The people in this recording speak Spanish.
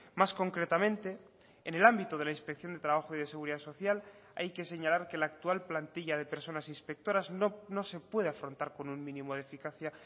más concretamente en el ámbito de la inspección de trabajo y de seguridad social hay que señalar que la actual plantilla de personas inspectoras no se puede afrontar con un mínimo de eficacia